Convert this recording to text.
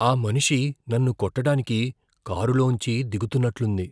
ఆ మనిషి నన్ను కొట్టడానికి కారులోంచి దిగుతున్నట్లుంది.